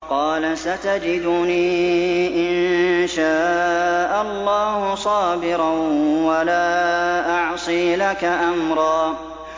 قَالَ سَتَجِدُنِي إِن شَاءَ اللَّهُ صَابِرًا وَلَا أَعْصِي لَكَ أَمْرًا